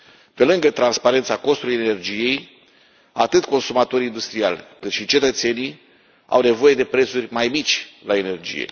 Pe lângă transparența costurilor energiei atât consumatori industriali, cât și cetățenii au nevoie de prețuri mai mici la energie.